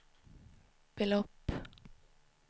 belopp